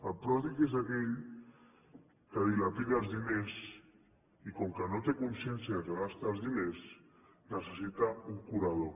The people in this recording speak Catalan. el pròdig és aquell que dilapida els diners i com que no té consciència que gasta els diners necessita un curador